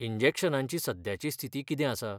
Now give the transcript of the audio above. इंजेक्शनांची सद्याची स्थिती कितें आसा?